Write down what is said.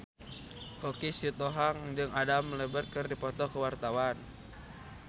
Choky Sitohang jeung Adam Lambert keur dipoto ku wartawan